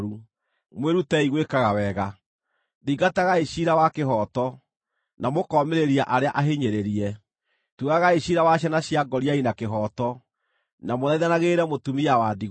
mwĩrutei gwĩkaga wega! Thingatagai ciira wa kĩhooto, na mũkoomĩrĩria arĩa ahinyĩrĩrie. Tuagai ciira wa ciana cia ngoriai na kĩhooto, na mũthaithanagĩrĩre mũtumia wa ndigwa.”